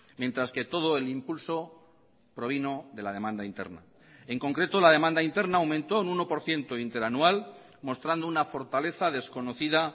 mientras que todo el impulso provino de la demanda interna en concreto la demanda interna aumentó un uno por ciento interanual mostrando una fortaleza desconocida